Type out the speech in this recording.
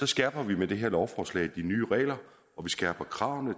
skærper vi med det her lovforslag reglerne og vi skærper kravene